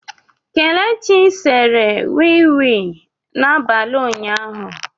Kelechi sere wii wii n'abalị ụnyaahụ.